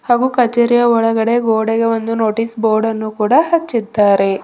ಹಾಗು ಕಚೇರಿಯ ಒಳಗಡೆ ಗೋಡೆಗೆ ಒಂದು ನೋಟಿಸ್ ಬೋರ್ಡ ಅನ್ನು ಕೂಡ ಹಚ್ಚಿದ್ದಾರೆ.